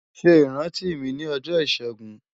Ṣe iranti mi ni ọjọ Ishegun